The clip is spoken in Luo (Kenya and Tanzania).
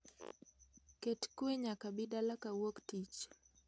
Ket kwe nyaka abi dala kawuok tich